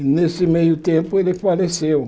E nesse meio tempo ele faleceu.